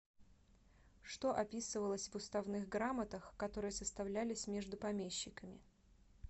что описывалось в уставных грамотах которые составлялись между помещиками